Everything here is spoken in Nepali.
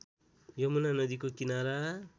यमुना नदीको किनारा